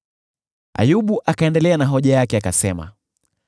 Ayubu akaendelea na hoja yake, akasema: